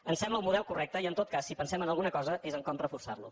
em sembla un model correcte i en tot cas si pensem en alguna cosa és en com reforçar lo